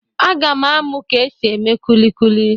Aga m amụ ka e si eme kulikuli.